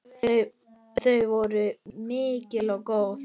Þau voru mikil og góð.